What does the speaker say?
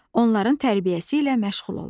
Onların tərbiyəsi ilə məşğul olur.